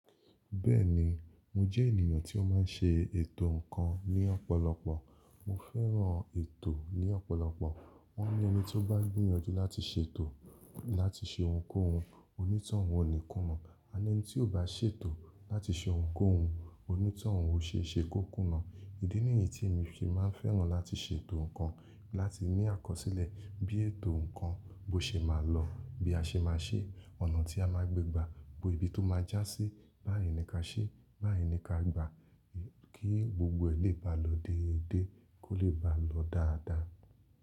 Bẹ́ẹ̀ni, mo jẹ́ ènìyàn tí ó máa ń ṣe ètò nǹkan ní ọ̀pọ̀lọpọ̀. Mo fẹ́ràn ètò ní ọ̀pọ̀lọpọ̀. Wọ́n ní ẹni ti ó bá gbìyànjú láti ṣe ètò láti ṣe ohunkóhun, òní tọ́hun ò ní kúnna. A ní ẹni tí ò bá ṣètò láti ṣe ohunkóhun, òní tọ́ hun ó ṣe é ṣe kókúnna. Ìdí nìyí tí mi fi máa ń fẹ́ràn láti ṣe ètò nǹkan láti ní àkọsílẹ̀ bí ètò nǹkan bó ṣe máa lọ, bí a ṣe máa ṣe é, ọ̀nà tí a máa gbé gbàá, bo ibi tó máa já sí, báyìí ni ká ṣe, báyìí ni ká gbà á kí gbogbo ẹ̀ lè bá lọ déédéé, kó lè bá lọ dáadáa.